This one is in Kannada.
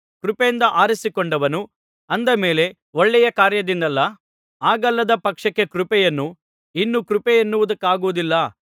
ಕೃಪೆಯಿಂದ ಆರಿಸಿಕೊಂಡನು ಅಂದ ಮೇಲೆ ಒಳ್ಳೆಯ ಕಾರ್ಯದಿಂದಲ್ಲ ಹಾಗಲ್ಲದ ಪಕ್ಷಕ್ಕೆ ಕೃಪೆಯನ್ನು ಇನ್ನು ಕೃಪೆಯನ್ನುವುದಕ್ಕಾಗುವುದಿಲ್ಲ